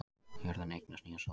Jörðin eignast nýja sól